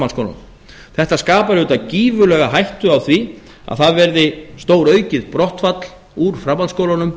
framhaldsskóla árum þetta skapar auðvitað gífurlega hættu á því að það verði stóruaukið brottfall úr framhaldsskólunum